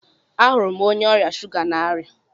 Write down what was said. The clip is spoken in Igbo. Ahụrụ m onye ọrịa shuga n'aria